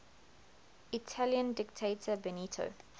italian dictator benito